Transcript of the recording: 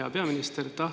Hea peaminister!